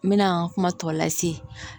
N mɛna n ka kuma tɔ lase